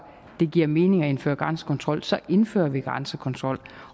det giver mening at indføre grænsekontrol så indfører vi grænsekontrol